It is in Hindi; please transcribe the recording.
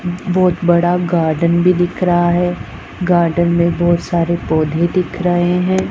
बहोत बड़ा गार्डन भी दिख रहा है गार्डन में बहोत सारे पौधे दिख रहे हैं।